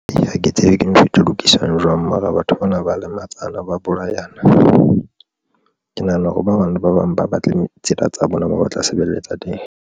Ha ke tsebe, ke ntho e ka lokiswang jwang. Mara batho bana ba lematsana ba bolayana. Ke nahana hore ba bang ba bang ba batle tsena tsa bona, ba tla sebeletsa teng.